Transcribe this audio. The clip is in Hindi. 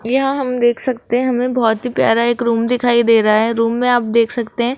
यहां हम देख सकते हैं हमें बहोत ही प्यार एक रूम दिखाई दे रहा है रूम में आप देख सकते हैं।